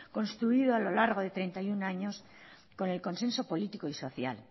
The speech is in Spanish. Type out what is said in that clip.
construido a lo largo de treinta y uno años con el consenso político y social